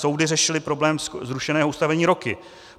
Soudy řešily problémy zrušeného ustanovení roky.